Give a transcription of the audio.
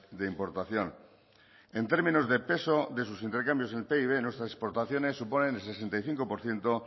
de importación en términos de peso de sus intercambios en pib nuestras exportaciones suponen el sesenta y cinco por ciento